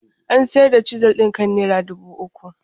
An sayar da Chisel ɗin kan naira dubu uku.